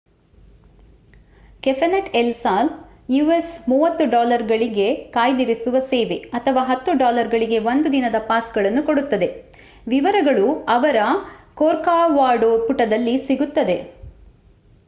cafe net El Sal us$30 ಗಳಿಗೆ ಕಾಯ್ದಿರಿಸುವ ಸೇವೆ ಅಥವಾ $10 ಗಳಿಗೆ 1 ದಿನದ ಪಾಸ್‌ಗಳನ್ನು ಕೊಡುತ್ತದೆ: ವಿವರಗಳು ಅವರ ಕೋರ್ಕೊವಾಡೂ ಪುಟದಲ್ಲಿ ಸಿಗುತ್ತದೆ